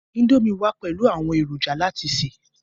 indomie wa pẹlú àwọn èròjà láti se.